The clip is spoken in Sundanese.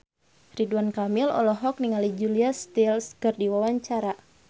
Ridwan Kamil olohok ningali Julia Stiles keur diwawancara